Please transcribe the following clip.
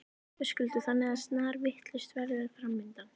Höskuldur: Þannig að snarvitlaust veður framundan?